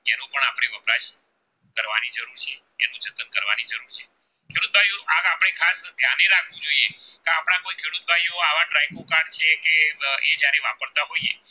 એ જયારે વાપરતા હોઈએ